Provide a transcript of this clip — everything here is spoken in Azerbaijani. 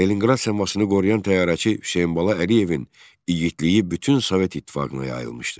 Leninqrad səmasını qoruyan təyyarəçi Hüseynbala Əliyevin igidliyi bütün Sovet İttifaqına yayılmışdı.